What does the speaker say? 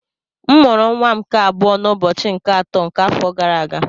M mụrụ nwa m nke abụọ n'ụbọchị nke atọ nke afọ gara aga